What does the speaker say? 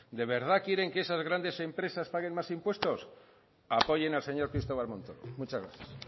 de verdad quieren que esas grandes empresas paguen más impuestos apoyen al señor cristóbal montoro muchas gracias